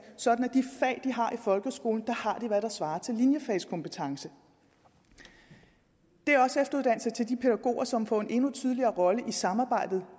sådan at i folkeskolen har hvad der svarer til linjefagskompetence det er også efteruddannelse til de pædagoger som får en tydeligere rolle i samarbejdet